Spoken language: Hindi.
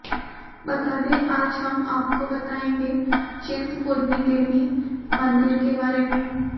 बता दें आज हम आपको बताएंगे चिंतपूर्णी देवी मंदिर के बारे में